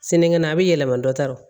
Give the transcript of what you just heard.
Sinikɛnɛ a bɛ yɛlɛma dɔ ta